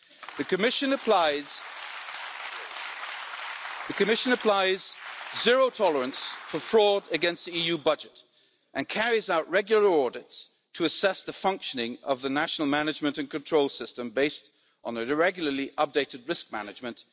The Commission shows zero tolerance towards fraud against the EU budget and carries out regular audits to assess the functioning of the national management and control system, based on regularly updated risk management.